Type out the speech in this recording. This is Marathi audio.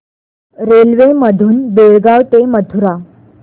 रेल्वे मधून बेळगाव ते मथुरा